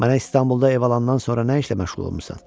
Mənə İstanbulda ev alandan sonra nə işlə məşğul olmusan?